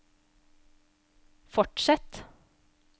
fortsett